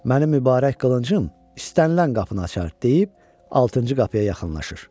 Mənim mübarək qılıncım istənilən qapını açar deyib altıncı qapıya yaxınlaşır.